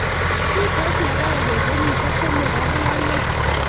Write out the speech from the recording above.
Pitos logoek eng kenyishek somok agoi angwan